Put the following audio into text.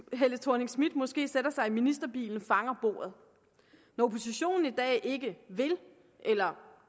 helle thorning schmidt måske sætter sig i ministerbilen fanger bordet når oppositionen i dag ikke vil eller